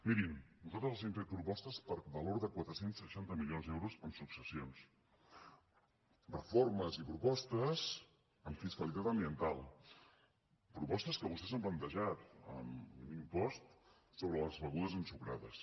mirin nosaltres els hem fet propostes per valor de quatre cents i seixanta milions d’euros en successions reformes i propostes en fiscalitat ambiental propostes que vostès han plantejat en l’impost sobre les begudes ensucrades